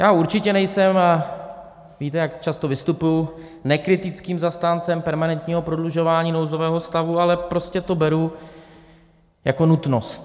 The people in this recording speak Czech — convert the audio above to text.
Já určitě nejsem, víte, jak často vystupuji, nekritickým zastáncem permanentního prodlužování nouzového stavu, ale prostě to beru jako nutnost.